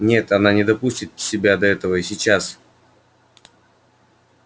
нет она не допустит себя до этого и сейчас